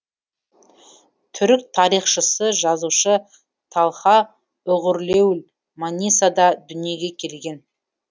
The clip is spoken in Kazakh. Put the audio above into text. түрік тарихшысы жазушы талха уғурлуел манисада дүниеге келген